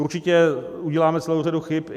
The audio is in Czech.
Určitě uděláme celou řadu chyb.